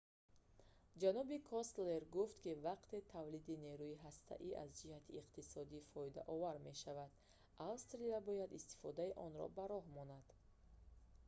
ҷаноби костелло гуфт ки вақте тавлиди нерӯи ҳастаӣ аз ҷиҳати иқтисодӣ фоидаовар мешавад австралия бояд истифодаи онро ба роҳ монад